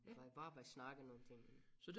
Hvis jeg bare var snakke nogle ting men